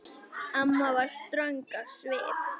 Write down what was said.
Amma var ströng á svip.